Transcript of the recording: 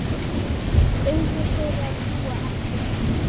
Augu þeirra ljúga ekki.